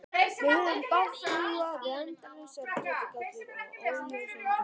Við höfum mátt búa við endalausar getgátur og óljósan grun.